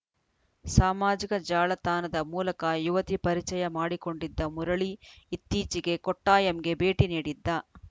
ಸಾಮಾಜಿಕ ಜಾಲತಾಣದ ಮೂಲಕ ಯುವತಿ ಪರಿಚಯ ಮಾಡಿಕೊಂಡಿದ್ದ ಮುರಳಿ ಇತ್ತೀಚೆಗೆ ಕೊಟ್ಟಾಯಂಗೆ ಭೇಟಿ ನೀಡಿದ್ದ